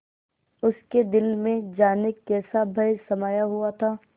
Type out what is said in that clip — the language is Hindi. उसके दिल में जाने कैसा भय समाया हुआ था